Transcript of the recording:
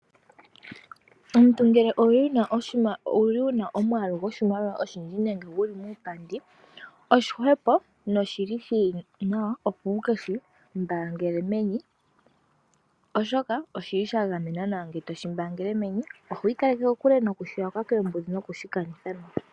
Omuntu ngele owuli wuna omwaalu goshimaliwa oshinene nenge guli muupandi oshihwepo noshili shili nawa opo wuke shi mbaangele meni ,oshoka oshili sha gamenwa nawa ngele toshi mbaangele meni . Ohwi kaleke kokule nokushi yakwa koombudhi no kushi kanitha.